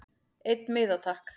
Einn miða takk